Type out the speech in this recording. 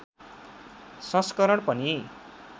संस्करण पनि